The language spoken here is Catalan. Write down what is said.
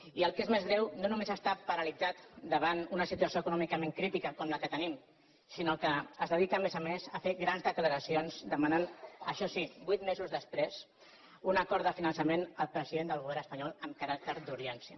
i el que és més greu no només està paralitzat davant una situació econòmicament crítica com la que tenim sinó que es dedica a més a més a fer grans declaracions demanant això sí vuit mesos després un acord de finançament al president del govern espanyol amb caràcter d’urgència